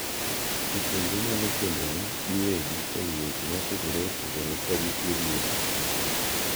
Jopuonjre nyalo puonjore giwegi e wi weche mopogore opogore ka gitiyo gi yore mag mbui.